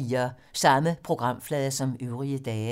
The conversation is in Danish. Samme programflade som øvrige dage